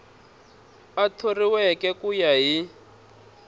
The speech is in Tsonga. a thoriweke ku ya hi